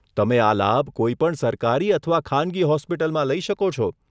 તમે આ લાભ કોઈપણ સરકારી અથવા ખાનગી હોસ્પિટલમાં લઈ શકો છો.